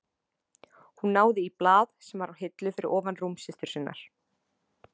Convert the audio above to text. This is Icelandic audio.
Hún náði í blað sem var á hillu fyrir ofan rúm systur sinnar.